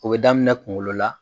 O bɛ daminɛ kunkolo la.